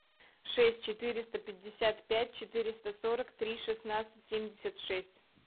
шесть четыреста пятьдесят пять четыреста сорок три шестнадцать семьдесят шесть